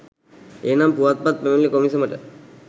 එහෙමනම් පුවත්පත් පැමිණිලි කොමිසමට